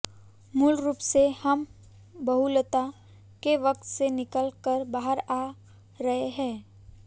मूल रूप से हम बहुलता के वक्त से निकल कर बाहर आ रहे हैं